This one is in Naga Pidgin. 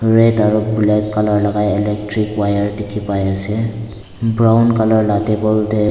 red aro black colour lai gai electric wire dekhi pai ase brown colour te.